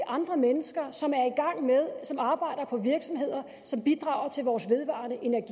andre mennesker som arbejder på virksomheder som bidrager til vores vedvarende energi